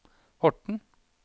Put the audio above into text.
Horten